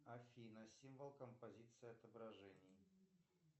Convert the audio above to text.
афина символ композиции отображений